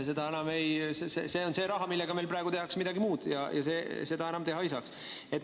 See on see raha, millega meil praegu tehakse midagi muud, ja seda enam teha ei saaks.